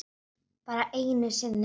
Bara einu sinni?